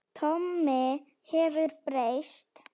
Tommi hefur breyst.